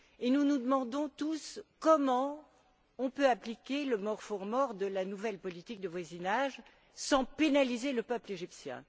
Nous nous demandons tous comment on peut appliquer le more for more de la nouvelle politique de voisinage sans pénaliser le peuple égyptien.